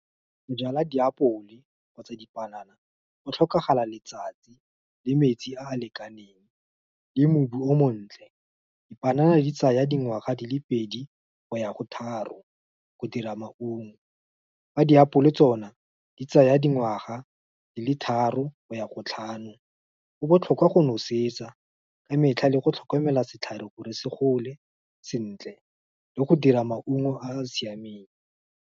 Go jala diapole, kgotsa dipanana, go tlhokagala letsatsi, le metsi a a lekaneng, le mobu o montle. Dipanana di tsaya dingwaga di le pedi, go ya go tharo, go dira maungo. Fa diapole tsona, di tsaya dingwaga di le tharo, go ya ko tlhano, go botlhokwa go nosetsa ka metlha, le go tlhokomela setlhare gore se gole sentle, le go dira maungo a a siameng.